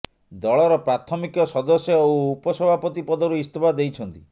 ଦଳର ପ୍ରାଥମିକ ସଦସ୍ୟ ଓ ଉପସଭାପତି ପଦରୁ ଇସ୍ତଫା ଦେଇଛନ୍ତି